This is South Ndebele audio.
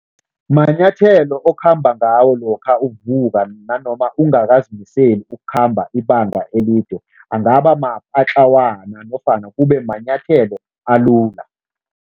Manyathelo okhamba ngawo lokha uvuka nanoma ungakazimiseli ukukhamba ibanga elide, angaba mapatlakwana nofana kube manyathelo alula.